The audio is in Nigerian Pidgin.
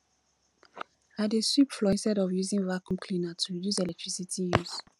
i dey sweep floor instead of using vacuum cleaner to reduce electricity use